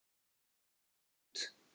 Slaga út.